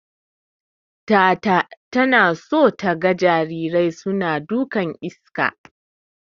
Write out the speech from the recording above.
Tata tana so taga jarirai suna dukan iska.